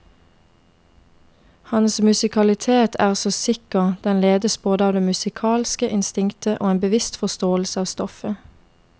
Hans musikalitet er så sikker, den ledes både av det musikalske instinktet og en bevisst forståelse av stoffet.